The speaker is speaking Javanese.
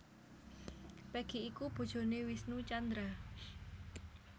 Peggy iku bojoné Wisnu Tjandra